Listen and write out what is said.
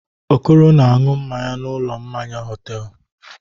Okoro na-aṅụ mmanya n'ụlọ mmanya hotelụ.